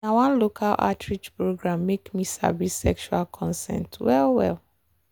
na one local outreach program make me sabi sexual consent well well.